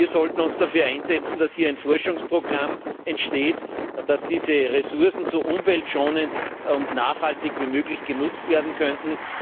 Wir sollten uns dafür einsetzen, dass hier ein Forschungsprogramm entsteht, mit dessen Hilfe diese Ressourcen so umweltschonend und nachhaltig wie möglich genutzt werden können.